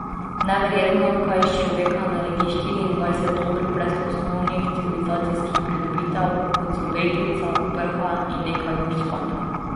Neverjetno, kaj iz človeka naredi štiriindvajset ur brez osnovnih civilizacijskih pridobitev, kot so britvica, prha in nekaj ur spanja.